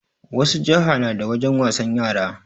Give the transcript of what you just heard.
Wasu jiha na da wajen wasan yara